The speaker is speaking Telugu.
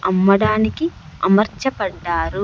అమ్మడానికి అమర్చపడ్డారు.